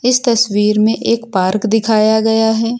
इस तस्वीर में एक पार्क दिखाया गया है।